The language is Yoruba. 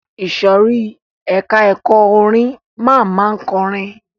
Ìsòrí ẹka ẹ̀kọ́ orin máa ma kọrin.